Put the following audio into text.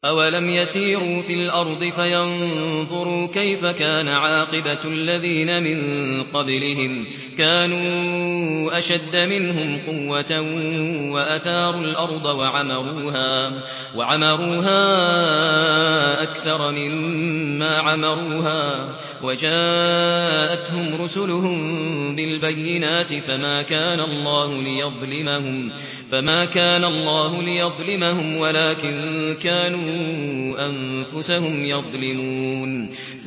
أَوَلَمْ يَسِيرُوا فِي الْأَرْضِ فَيَنظُرُوا كَيْفَ كَانَ عَاقِبَةُ الَّذِينَ مِن قَبْلِهِمْ ۚ كَانُوا أَشَدَّ مِنْهُمْ قُوَّةً وَأَثَارُوا الْأَرْضَ وَعَمَرُوهَا أَكْثَرَ مِمَّا عَمَرُوهَا وَجَاءَتْهُمْ رُسُلُهُم بِالْبَيِّنَاتِ ۖ فَمَا كَانَ اللَّهُ لِيَظْلِمَهُمْ وَلَٰكِن كَانُوا أَنفُسَهُمْ يَظْلِمُونَ